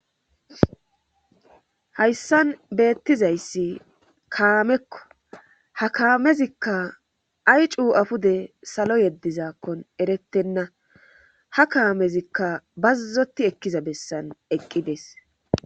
Hayssan beettizayssi kaamekko ha kaamezikka ay cuu afude salo yeddizakkon erettenna ha kaamezikka bazzoti ekkiza bessan eqqides.